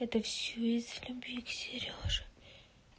это всё из-за любви к серёже